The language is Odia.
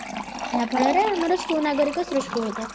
ଏହା ଫଳରେ ଆମର ସୁ ନାଗରିକ ସୃଷ୍ଟି ହୋଇଥାଏ